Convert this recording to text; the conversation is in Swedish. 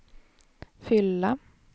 fylla